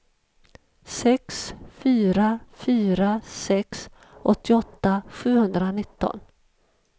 sex fyra fyra sex åttioåtta sjuhundranitton